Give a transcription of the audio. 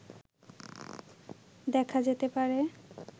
দেখা যেতে পারে